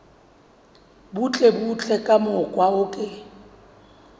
butlebutle ka mokgwa o ke